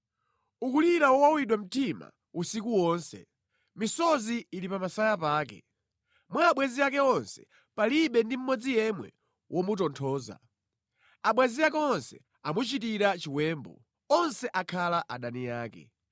Ukulira mowawidwa mtima usiku wonse, misozi ili pa masaya pake. Mwa abwenzi ake onse, palibe ndi mmodzi yemwe womutonthoza. Abwenzi ake onse amuchitira chiwembu; onse akhala adani ake.